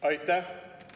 Aitäh!